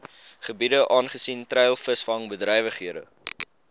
gebiede aangesien treilvisvangbedrywighede